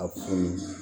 A kun